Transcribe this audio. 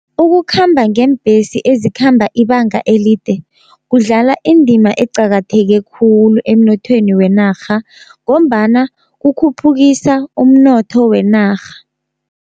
Ukukhamba ngeembesi ezikhamba ibanga elide kudlala indima eqakatheke khulu emnothweni wenarha, ngombana kukhuphukisa umnotho wenarha.